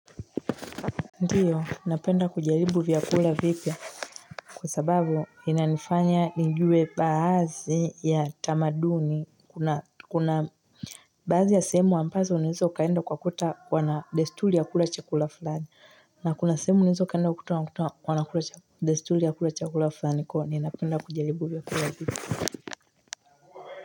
Ndiyo, napenda kujaribu vyakula vipya kwa sababu inanifanya nijue baazi ya tamaduni kuna baazi ya sehemu ampazo unaeza ukaenda ukakuta wana destuli ya kula chakula flani na kuna sehemu unaeza ukaenda ukakuta wa wana destuli ya kula chakula flami kwa hio ninapenda kujaribu vyakula vipya.